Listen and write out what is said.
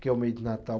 que é o mês do Natal.